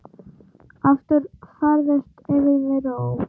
aftur færðist yfir mig ró.